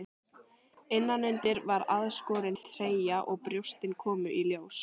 Innanundir var aðskorin treyja og brjóstin komu í ljós.